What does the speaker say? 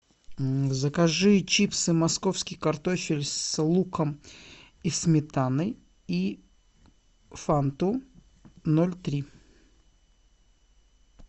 закажи чипсы московский картофель с луком и сметаной и фанту ноль три